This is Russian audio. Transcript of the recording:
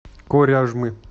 коряжмы